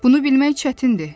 Bunu bilmək çətindir.